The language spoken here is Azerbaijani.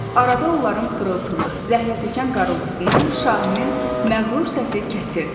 Arada onların xırıltılı, zəhlətökən qarıltısını şahinin məğrur səsi kəsirdi.